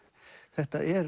þetta er